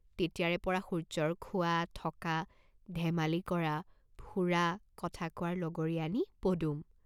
তেতিয়াৰেপৰা সূৰ্য্যৰ খোৱা, থকা, ধেমালি কৰা, ফুৰা, কথা কোৱাৰ লগৰীয়ানী পদুম।